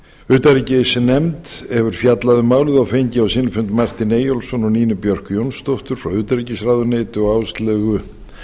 utanríkisnefnd hefur fjallað um málið og fengið á sinn fund martin eyjólfsson og nínu björk jónsdóttur frá utanríkisráðuneyti og áslaugu